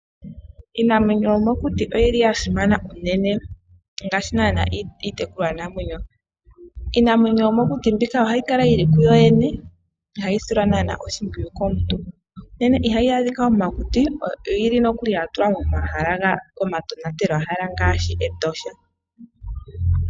Iinamwenyo yomokuti oyili yasimana unene ngaashi naana iitekulwa namwenyo. Iinamwenyo yomokuti mbika ohayi kala yili kuyoyene ihayi silwa naana oshimpwiyu komuntu. Ihayi adhika mokuti oyili nokuli yatulwa momahala omatonatelwa hala ngaashi Etosha.